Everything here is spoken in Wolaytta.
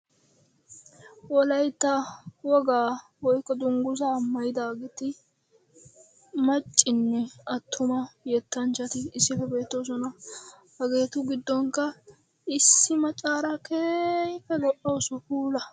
Wolaytta wogga woyikko dunguzza maayidagetti maccanne attuma yettanchchatti issippe beettosona. Hagettu gidonikka issi maccara keehippe lo"awussu puula.